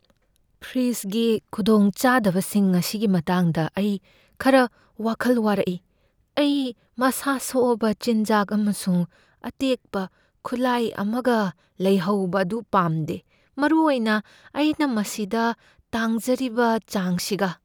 ꯐ꯭ꯔꯤꯖꯒꯤ ꯈꯨꯗꯣꯡꯆꯥꯗꯕꯁꯤꯡ ꯑꯁꯤꯒꯤ ꯃꯇꯥꯡꯗ ꯑꯩ ꯈꯔ ꯋꯥꯈꯜ ꯋꯥꯔꯛꯏ, ꯑꯩ ꯃꯁꯥ ꯁꯣꯛꯑꯕ ꯆꯤꯟꯖꯥꯛ ꯑꯃꯁꯨꯡ ꯑꯇꯦꯛꯄ ꯈꯨꯠꯂꯥꯏ ꯑꯃꯒ ꯂꯩꯍꯧꯕ ꯑꯗꯨ ꯄꯥꯝꯗꯦ, ꯃꯔꯨ ꯑꯣꯏꯅ ꯑꯩꯅ ꯃꯁꯤꯗ ꯇꯥꯡꯖꯕꯔꯤꯕ ꯆꯥꯡꯁꯤꯒ꯫